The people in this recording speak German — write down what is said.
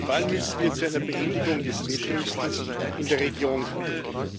Vor allem müssen wir zu einer Beendigung des Wettrüstens in der Region kommen.